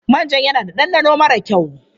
Manjan yana da ɗanɗano mara kyau.